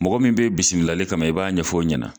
Mɔgɔ min bɛ bisimilali kama i b'a ɲɛfɔ o ɲɛna.